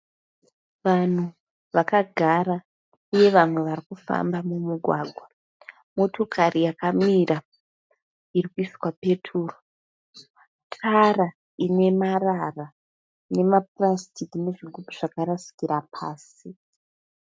Vanhu vakagara uye vanhu varikufamba mumugwagwa. Motokari yakamira irikuiswa peturu. Tara inemarara nemapurasitiki nezvigubhu zvakarasikira pasi.